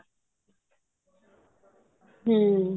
ਹਮ